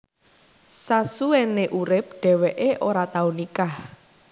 Sasuwene uripe dheweke ora tau nikah